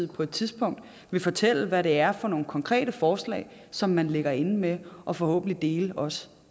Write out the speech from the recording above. på et tidspunkt vil fortælle hvad det er for nogle konkrete forslag som man ligger inde med og forhåbentlig også